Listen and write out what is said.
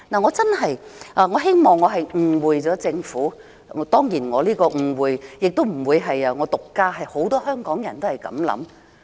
我真的希望我誤會了政府，當然誤會的不單是我，很多香港人也是這樣想。